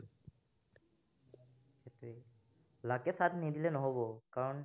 luck এ সাথ নিদিলে নহব, কাৰন